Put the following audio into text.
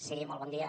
sí molt bon dia